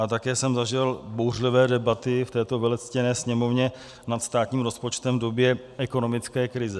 A také jsem zažil bouřlivé debaty v této velectěné Sněmovně nad státním rozpočtem v době ekonomické krize.